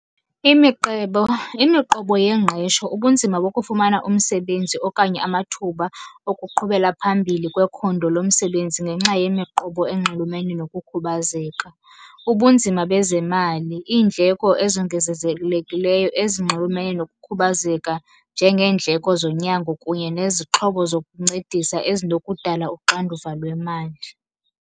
Imiqebo, imiqobo yengqesho, ubunzima bokufumana umsebenzi okanye amathuba okuqhubela phambili kwekhondo lomsebenzi ngenxa yimiqobo enxulumene nokukhubazeka. Ubunzima bezemali, iindleko ezongezezekileyo ezinxulumene nokukhubazeka njengeendleko zonyango kunye nezixhobo zokuncedisa ezinokudala uxanduva lwemali.